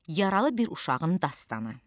Yaralı bir uşağın dastanı.